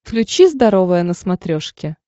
включи здоровое на смотрешке